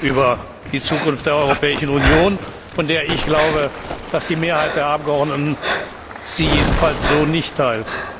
über die Zukunft der Europäischen Union abzugeben, von denen ich glaube, dass die Mehrheit der Abgeordneten sie jedenfalls so nicht teilt.